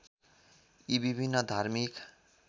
यी विभिन्न धार्मिक